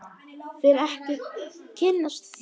Vil ekki kynnast því.